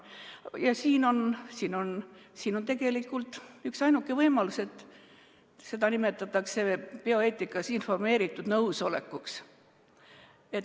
Ja siin on tegelikult üksainuke võimalus, bioeetikas nimetatakse seda informeeritud nõusolekuks.